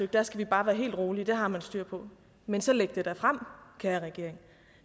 der skal vi bare være helt rolige det har man styr på men så læg det da frem kære regering